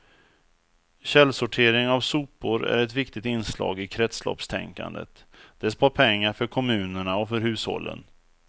Källsortering av sopor är ett viktigt inslag i kretsloppstänkandet, det spar pengar för kommunerna och för hushållen.